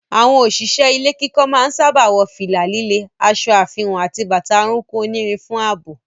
Àwọn òṣìṣẹ́ ilé kíkọ́ máa ń sáábà wọ fìlà líle, aṣọ àfihàn àti bàtà orúnkún onírin fún ààbò.